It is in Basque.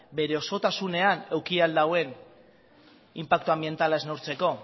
bere osotasunean eduki al duen inpaktu anbientala ez neurtzeko